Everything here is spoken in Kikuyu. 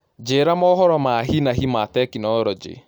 Njĩĩra mohoro ma hĩ na hĩ ma tekinoronjĩ